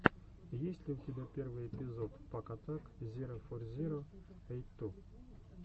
есть ли у тебя первый эпизод пак атак зиро фор зиро эйт ту